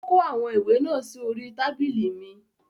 Ó kó àwọn ìwé náà sí orí I tábìlì mi